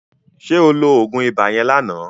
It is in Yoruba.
Ṣé o lo oògùn ibà yẹn lánàá?